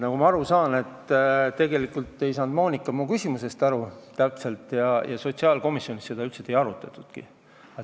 Nagu ma aru sain, tegelikult ei saanud Monika mu küsimusest täpselt aru ja sotsiaalkomisjonis seda teemat üldse ei arutatudki.